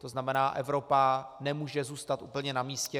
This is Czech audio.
To znamená, Evropa nemůže zůstat úplně na místě.